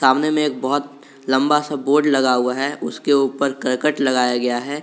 सामने में एक बहोत लंबा सा बोर्ड लगा हुआ है उसके ऊपर करकट लगाया गया है।